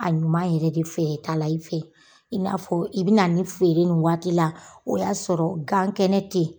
A ɲuman yɛrɛ de feereta la i fɛ i n'a fɔ i bi na nin feere nin waati la, o y'a sɔrɔ gan kɛnɛ te.